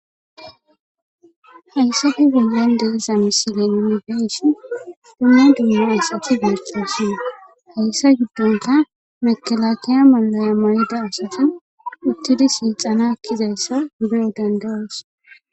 Hayissappe bollanni diza missile nuuni be'ishshinn dumma dumma asati betosonna .hayissa giddonikka mekelakeya mayo mayida asati uttidi silitena ekkizayissa be'o danida'oss.